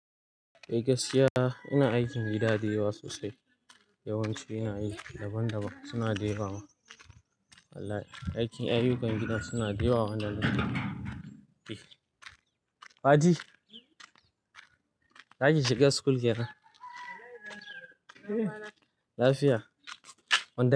Eh gaskiya ina aikin gida dayawa sosai, yawanci ina yi daban-daban suna dayawa ma. Wallahi aikin ayyukan gidan suna dayawa. Fati, za ki shiga school kenan? Lafiya.